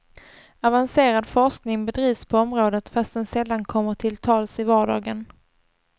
Avancerad forskning bedrivs på området fast den sällan kommer till tals i vardagen.